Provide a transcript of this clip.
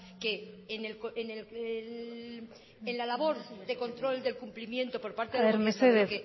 que en la labor de control del cumplimiento por parte de mesedez